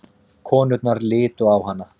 Konurnar litu á hana.